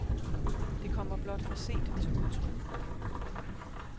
Det kommer blot for sent til udtryk.